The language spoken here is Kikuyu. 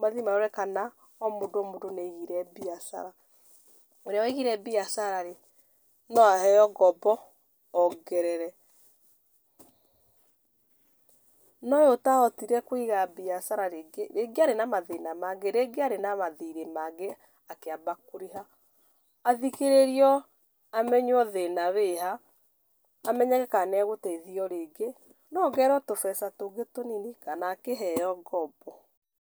mathiĩ marore kana o mũndũ o mũndũ nĩ aigire mbiacara. Ũrĩa waigire mbiacara-rĩ, no aheo ngombo ongerere. No ũrĩa ũtahotire kũiga mbiacara, rĩngĩ rĩngĩ arĩ na mathĩna mangĩ, rĩngĩ arĩ na mathirĩ mangĩ akĩamba kũrĩha, athikĩrĩrio, amenywo thĩna wĩha, amenyeke kana nĩ agũteithio rĩngĩ, no ongererwo tũbeca tũngĩ tũnini kana akĩheo ngombo.